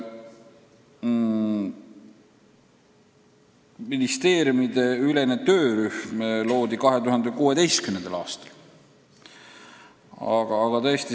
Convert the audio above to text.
Ministeeriumideülene töörühm loodi 2016. aastal.